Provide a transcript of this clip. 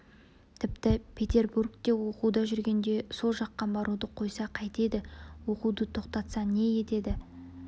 тіпті петербургте оқуда жүргенде сол жаққа баруды қойса қайтеді оқуды тоқтатса не етеді